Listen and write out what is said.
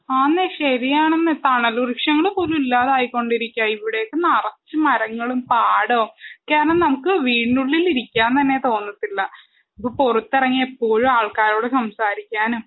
ആന്നെ ശരിയാണെന്ന് തണല് വൃക്ഷങ്ങൾ പോലും ഇല്ലാതായികൊണ്ടിരിക്കാ ഇവിടെ നറച്ച് മരങ്ങളും പാടോം കാരണം നമുക്ക് വീടിന്റുള്ളി ഇരിക്കാ തന്നെ തോന്നത്തില്ല പ്പൊ പൊറത്തെറങ്ങിയ എപ്പോഴും ആൾക്കാരോട് സംസാരിക്കാനും